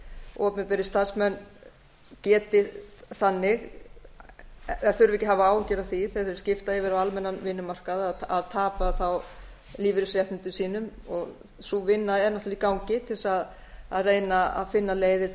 opinberir starfsmenn geti þannig eða þurfi ekki að hafa áhyggjur af því þegar þeir skipta yfir á almennan vinnumarkað að tapa lífeyrisréttindum sínum sú vinna er náttúrlega í gangi til þess að reyna að finna leiðir